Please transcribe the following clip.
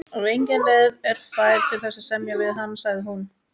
Ef engin leið er fær til þess að semja við hann, sagði hún.